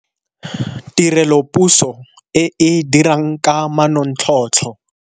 Tirelopuso e e dirang ka manontlhotlho.